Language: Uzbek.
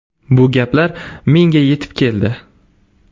Bu gaplar menga yetib keldi.